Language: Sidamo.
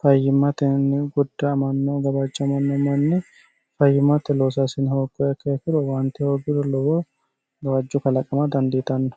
fayyimmatenni gadda'amanno gawajamanno manni fayyimmate loosaasine hooguha ikiro owaante hooguro lowo gawajjo kalaqamma dandiitanno.